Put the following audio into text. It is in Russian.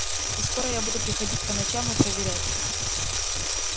и скоро я буду приходить по ночам и проверять